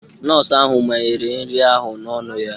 Nọọsụ ahụ manyere nri ahụ n'ọnụ ya.